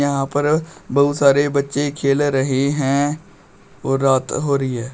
यहां पर बहुत सारे बच्चे खेल रहे हैं और रात हो रही है।